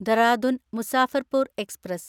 Dehradun Muzaffarpur express